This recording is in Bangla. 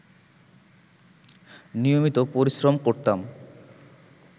নিয়মিত পরিশ্রম করতাম